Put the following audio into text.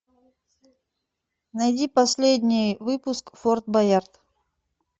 найди последний выпуск форт боярд